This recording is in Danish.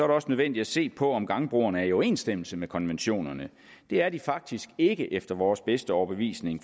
det også nødvendigt at se på om gangbroerne er i overensstemmelse med konventionerne det er de faktisk ikke efter vores bedste overbevisning